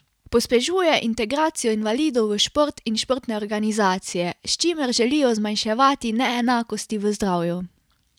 Pospešuje integracijo invalidov v šport in športne organizacije, s čimer želijo zmanjševati neenakosti v zdravju.